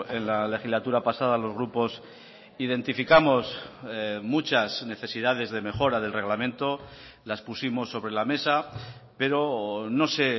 en la legislatura pasada los grupos identificamos muchas necesidades de mejora del reglamento las pusimos sobre la mesa pero no se